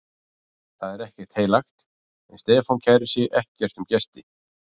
Það er ekkert heilagt, en Stefán kærir sig ekkert um gesti